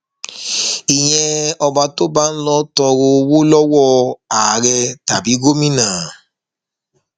ìyẹn ọba tó bá ń lọo tọrọ owó lọwọ àárẹ tàbí gómìnà